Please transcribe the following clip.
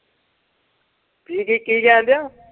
ਕੀ-ਕੀ ਕਹਿਣ ਦਿਆਂ।